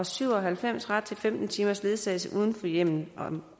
syv og halvfems ret til femten timers ledsagelse uden for hjemmet om